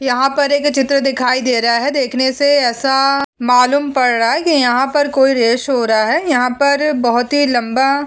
यहां पर एक चित्र दिखाई दे रहा है। देखने से ऐसा मालूम पड़ रहा है कि यहां पर कोई रेस हो रहा है। यहां पर बोहोत ही लंबा--